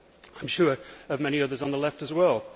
I am sure of many others on the Left as well.